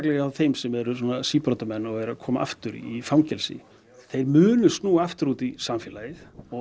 hjá þeim sem eru síbrotamenn og eru að koma aftur í fangelsi þeir munu snúa aftur út í samfélagið